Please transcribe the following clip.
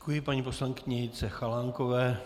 Děkuji paní poslankyni Jitce Chalánkové.